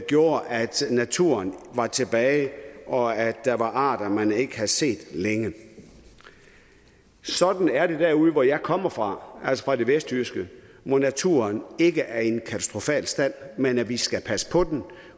gjorde at naturen var tilbage og at der var arter man ikke havde set længe sådan er det derude hvor jeg kommer fra altså det vestjyske hvor naturen ikke er i en katastrofal stand men vi skal passe på den